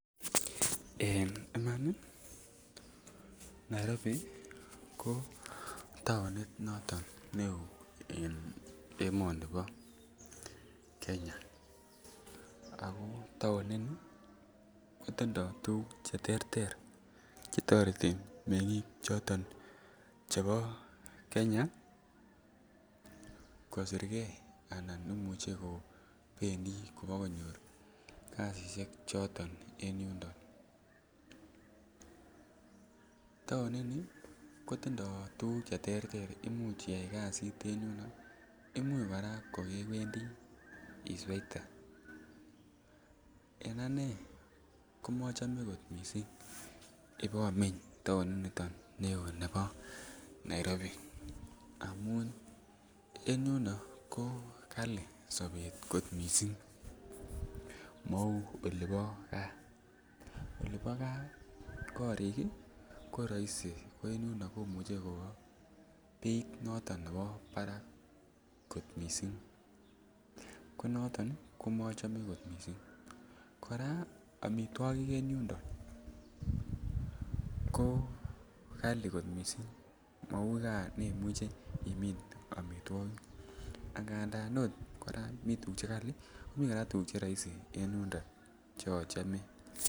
En iman Nairobi ko tounit noton ne oo en emoni bo Kenya, ako tounini kotindo tuguk che terter che toreti mengik choton chebo Kenya kosirge anan imuche kobendii Kobo konyor kazishek choton en yundon. Tounini kotindo tuguk che terter imuch iyay kazit en yuno, imuch koraa kokewendi isweite. En aje komochome kot missing ibo meny touni niton ne oo nebo Nairobi amun en yuno ko kalii sobet kot missing mouu olipo gaa. Olipo gaa korik ko roisii ko en yuno komuche ko beit noton nebo Barak kot missing. Ko noton komochome kot missing. Koraa omitwokik en yundon ko Kali kot missing mouu gas nemuche imin omitwokik. Angandan ot koraa mi tuguk che kalii, mi tuguk che roisii en yundon che ochome